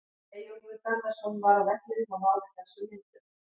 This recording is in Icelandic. Eyjólfur Garðarsson var á vellinum og náði þessum myndum.